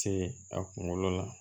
Se a kunkolo la